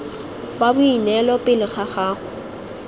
wa boineelo pele ga gago